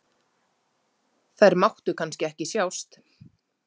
Þær máttu kannski ekki sjást?